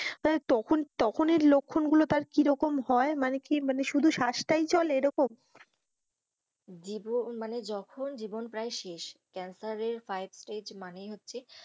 তখন তখনের লক্ষণ গুলো তালে কিরকম হয় মানে কি মানে শুধু শ্বাসটাই চলে এরকম জীবন মানে যখন জীবন প্রায় শেষ ক্যান্সারের five stage মানেই হচ্ছে,